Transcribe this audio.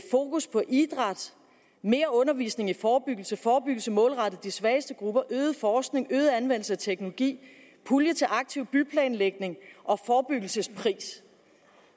fokus på idræt mere undervisning i forebyggelse forebyggelse målrettet de svageste grupper øget forskning øget anvendelse af teknologi pulje til aktiv byplanlægning og forebyggelsespris